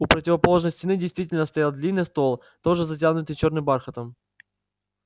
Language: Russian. у противоположной стены действительно стоял длинный стол тоже затянутый чёрным бархатом